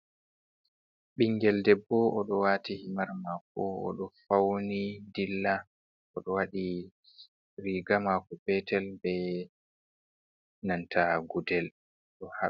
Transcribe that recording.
Ɓinngel debbo o ɗo waati himar maako o ɗo fawni dilla o ɗo waɗi riiga maako petel be nanta gudel.